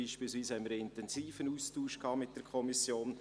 Dort hatten wir einen intensiven Austausch mit der Kommission.